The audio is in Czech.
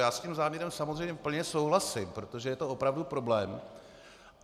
Já s tím záměrem samozřejmě plně souhlasím, protože je to opravdu problém.